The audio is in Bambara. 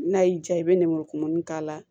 N'a y'i diya i bɛ nɛnɛmuru kumuni k'a la